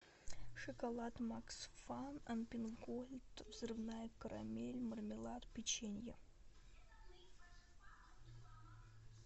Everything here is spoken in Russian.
шоколад максфан альпенгольд взрывная карамель мармелад печенье